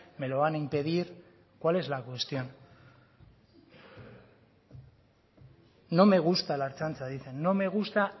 me lo van a impedir cuál es la cuestión no me gusta la ertzaintza dicen no me gusta